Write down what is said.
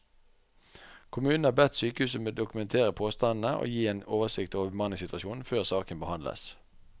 Kommunen har bedt sykehuset dokumentere påstandene og gi en oversikt over bemanningssituasjonen før saken behandles.